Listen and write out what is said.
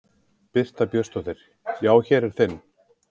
Birta Björnsdóttir: Já, hér er þinn?